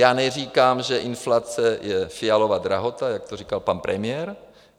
Já neříkám, že inflace je Fialova drahota, jak to říkal pan premiér.